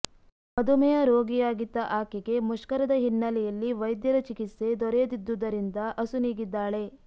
ಮಧುಮೇಹ ರೋಗಿಯಾಗಿದ್ದ ಆಕೆಗೆ ಮುಷ್ಕರದ ಹಿನ್ನೆಲೆಯಲ್ಲಿ ವೈದ್ಯರ ಚಿಕಿತ್ಸೆ ದೊರೆಯದಿದ್ದುದರಿಂದ ಅಸುನೀಗಿದ್ದಾಳೆ